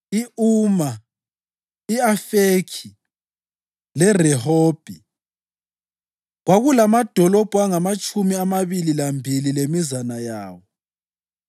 i-Uma, i-Afekhi leRehobhi. Kwakulamadolobho angamatshumi amabili lambili lemizana yawo.